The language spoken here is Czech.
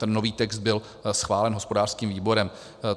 ten nový text byl schválen hospodářským výborem.